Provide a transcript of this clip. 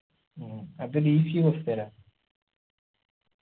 ഉം അതൊര് easy question ആ